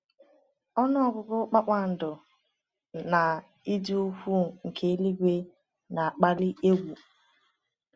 Ọnụ ọgụgụ kpakpando na ịdị ukwuu nke eluigwe na-akpali egwu.